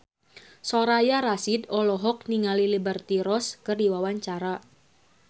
Soraya Rasyid olohok ningali Liberty Ross keur diwawancara